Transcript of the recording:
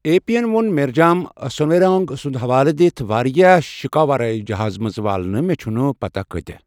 A پی ین ووٚن میرجام سنویروانگ سُنٛد حوالہ دِتتھ واریاہ شکاور آے جہاز منٛز والنہٕ مہ چھنہِ پتاہ کٲتیاہ ۔